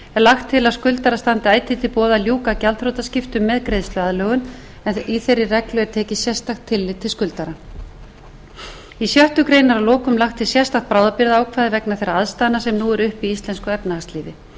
lagt til að skuldara standi ætíð til boða að ljúka gjaldþrotaskiptum með greiðsluaðlögun en í þeirri reglu er tekið sérstakt tillit til skuldarans í sjöttu grein er að lokum lagt til sérstakt bráðabirgðaákvæði vegna þeirra aðstæðna sem nú eru uppi í íslensku efnahagslífi er með